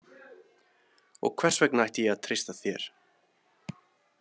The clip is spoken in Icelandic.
Og hvers vegna ætti ég að treysta þér?